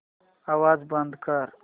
आवाज बंद कर